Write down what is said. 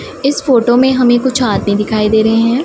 इस फोटो में हमें कुछ आदमी दिखाई दे रहे है।